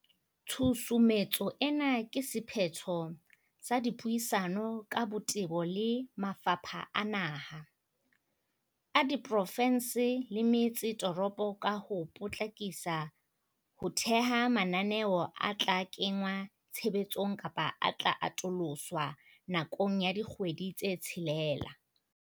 Tshusumetso ena ke se phetho sa dipuisano ka botebo le mafapha a naha, a diprofe nse le metse toropo ka ho po tlakisa ho theha mananeo a tla kengwa tshebetsong kapa a tla atoloswa nakong ya dikgwedi tse tshelela.